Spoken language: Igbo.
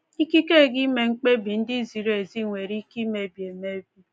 Ikike gị ime mkpebi ndị ziri ezi nwere ike imebi emebi.